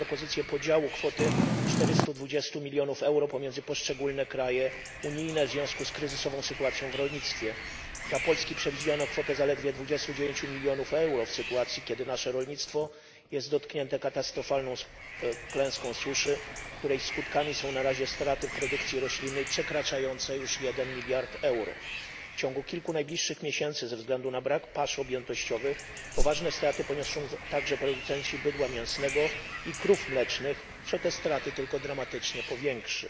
Panie Przewodniczący! Ze zdumieniem odnotowuję przygotowaną przez Komisję propozycję podziału kwoty czterystu dwudziestu milionów euro pomiędzy poszczególne kraje należące do UE w związku z kryzysową sytuacją w rolnictwie. Dla Polski przewidziano kwotę zaledwie dwudziestu dziewięciu milionów euro, w sytuacji kiedy nasze rolnictwo jest dotknięte katastrofalną klęską suszy, której skutkami są na razie straty w produkcji roślinnej przekraczające już jeden miliard euro. W ciągu kilku najbliższych miesięcy ze względu na brak pasz objętościowych poważne straty poniosą także producenci bydła mięsnego i krów mlecznych, co ten bilans strat tylko dramatycznie powiększy.